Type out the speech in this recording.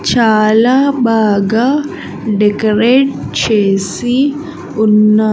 చాలా బాగా డెకరేట్ చేసి ఉన్నా--